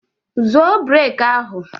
Zọọ brek ahụ!